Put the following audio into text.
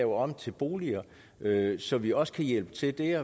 om til boliger så vi også kan hjælpe til